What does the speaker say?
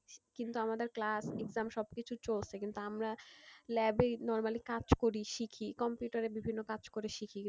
কিন্তু আমাদের class exam সবকিছু চলছে কিন্তু আমরা lab এই normally কাজ করি শিখি computer এ বিভিন্ন কাজ করে শিখি,